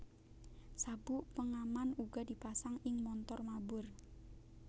Sabuk pengaman uga dipasang ing montor mabur